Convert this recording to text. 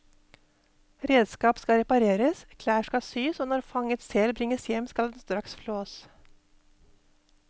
Redskap skal repareres, klær skal syes og når fanget sel bringes hjem skal den straks flås.